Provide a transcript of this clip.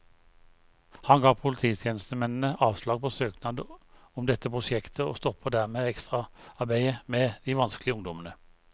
Han ga polititjenestemennene avslag på søknad om dette prosjektet, og stoppet dermed ekstraarbeidet med de vanskelige ungdommene.